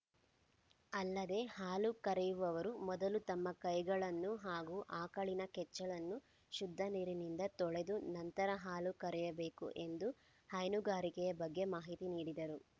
ಅಲ್ಲದೇ ಹಾಲು ಕರೆಯುವವರು ಮೊದಲು ತಮ್ಮ ಕೈಗಳನ್ನು ಹಾಗೂ ಆಕಳಿನ ಕೆಚ್ಚಲನ್ನು ಶುದ್ಧ ನೀರಿನಿಂದ ತೊಳೆದು ನಂತರ ಹಾಲು ಕರೆಯಬೇಕು ಎಂದು ಹೈನುಗಾರಿಕೆಯ ಬಗ್ಗೆ ಮಾಹಿತಿ ನೀಡಿದರು